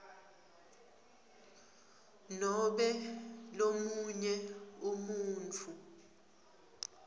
nobe lomunye umuntfu